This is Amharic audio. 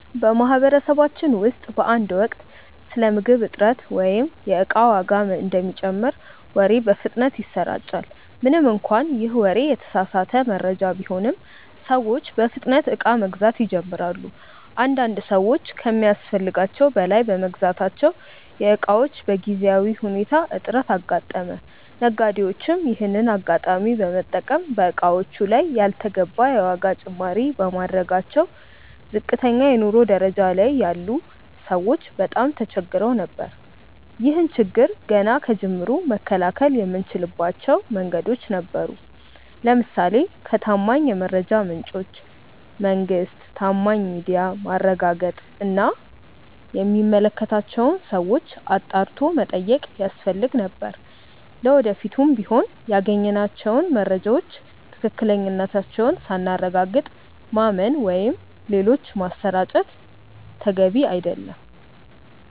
በማህበረሰባችን ውስጥ በአንድ ወቅት ስለ ምግብ እጥረት ወይም የእቃ ዋጋ እንደሚጨምር ወሬ በፍጥነት ይሰራጫል። ምንም እንኳን ይህ ወሬ የተሳሳተ መረጃ ቢሆንም፤ ሰዎች በፍጥነት እቃ መግዛት ይጀምራሉ። አንዳንድ ሰዎች ከሚያስፈልጋቸው በላይ በመግዛታቸው የእቃዎች በጊዜያዊ ሁኔታ እጥረት አጋጠመ። ነጋዴዎችም ይሄንን አጋጣሚ በመጠቀም በእቃዎቹ ላይ ያልተገባ የዋጋ ጭማሪ በማድረጋቸው ዝቅተኛ የኑሮ ደረጃ ላይ ያሉ ሰዎች በጣም ተቸግረው ነበር። ይህን ችግር ገና ከጅምሩ መከላከል የምንችልባቸው መንገዶች ነበሩ። ለምሳሌ ከታማኝ የመረጃ ምንጮች (መንግስት፣ ታማኝ ሚዲያ)ማረጋገጥ እና የሚመለከታቸውን ሰዎች አጣርቶ መጠየቅ ያስፈልግ ነበር። ለወደፊቱም ቢሆን ያገኘናቸውን መረጃዎች ትክክለኛነታቸውን ሳናረጋግጥ ማመን ወይም ሌሎች ማሰራጨት ተገቢ አይደለም።